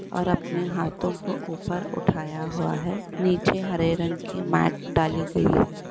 और अपने हाथों को ऊपर उठाया हुआ है। नीचे हरे रंग की मात डाली गयी है।